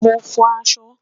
Mo n fò àṣọ